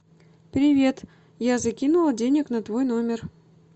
привет я закинула денег на твой номер